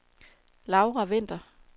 Laura Vinther